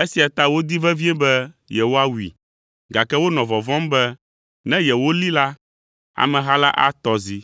Esia ta wodi vevie be yewoawui, gake wonɔ vɔvɔ̃m be ne yewolée la, ameha la atɔ zi,